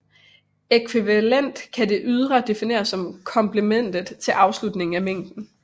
Ækvivalent kan det ydre defineres som komplementet til afslutningen af mængden